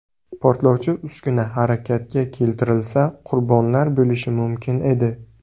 Portlovchi uskuna harakatga keltirilsa, qurbonlar bo‘lishi mumkin edi.